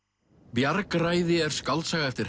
bjargræði er skáldsaga eftir